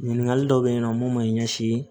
Ɲininkali dɔw bɛ yen nɔ mun ma ɲɛsin